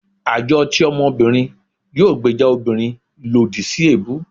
àjọ ti ọmọbìnrin yóò gbèjà òbirin lodì si ebú